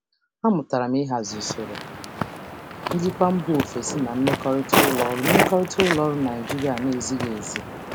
Ana m amụta ịhazi ụdị njikwa siri ike si mba ọzọ na mmekọrịta ụlọ ọrụ Naịjirịa na-abụghị nke nkịtị.